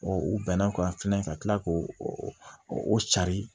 u bɛnna o kan fɛnɛ ka kila k'o o cari